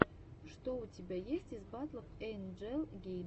что у тебя есть из батлов эйнджел гейм